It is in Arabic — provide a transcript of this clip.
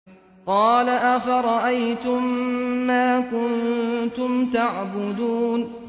قَالَ أَفَرَأَيْتُم مَّا كُنتُمْ تَعْبُدُونَ